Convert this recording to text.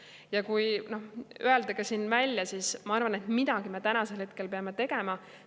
Ja ma arvan ja ütlen siin välja, et midagi me peame tegema.